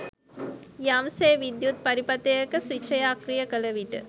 යම් සේ විද්‍යුත් පරිපථයක ස්විචය අක්‍රිය කළ විට